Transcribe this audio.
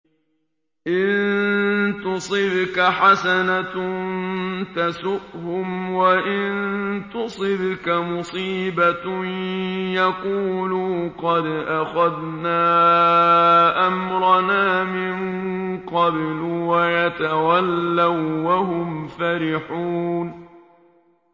إِن تُصِبْكَ حَسَنَةٌ تَسُؤْهُمْ ۖ وَإِن تُصِبْكَ مُصِيبَةٌ يَقُولُوا قَدْ أَخَذْنَا أَمْرَنَا مِن قَبْلُ وَيَتَوَلَّوا وَّهُمْ فَرِحُونَ